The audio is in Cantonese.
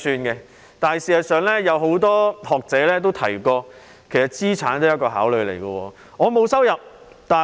不過，事實上，很多學者也指出，資產也是考慮因素之一。